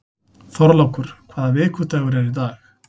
Þorlákur, hvaða vikudagur er í dag?